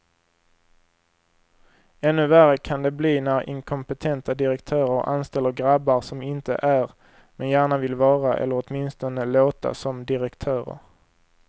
Ännu värre kan det bli när inkompetenta direktörer anställer grabbar som inte är, men gärna vill vara eller åtminstone låta som direktörer.